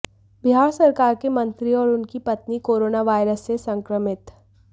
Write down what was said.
बिहार सरकार के मंत्री और उनकी पत्नी कोरोनावायरस से संक्रमित